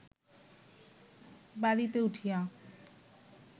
বাড়িতে উঠিয়া